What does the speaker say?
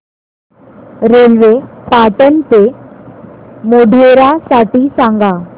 railway Patan ते मोढेरा साठी सांगा